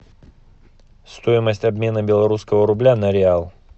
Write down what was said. стоимость обмена белорусского рубля на реал